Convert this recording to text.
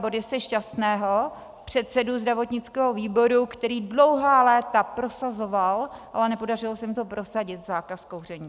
Borise Šťastného, předsedu zdravotnického výboru, který dlouhá léta prosazoval, ale nepodařilo se mu to prosadit, zákaz kouření.